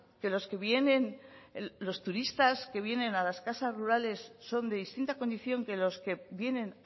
que los que vienen los turistas que vienen a las casas rurales son de distinta condición que los que vienen